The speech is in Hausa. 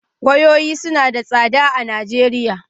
Wayoyi suna da tsada a Najeriya